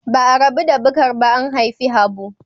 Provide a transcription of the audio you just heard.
Ba'a rabu da Bukar ba an haifi Habu.